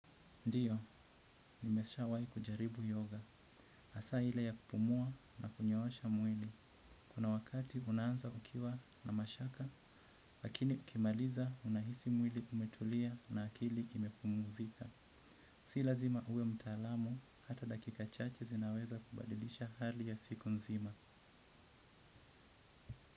Ndiyo, nimeshawai kujaribu yoga. Asa ille ya kupumua na kunyoosha mwili. Kuna wakati unaanza kukiwa na mashaka, lakini ukimaliza unahisi mwili kumetulia na akili imepumuzika. Si lazima uwe mtaalamu, hata dakika chache zinaweza kubadilisha hali ya siku nzima.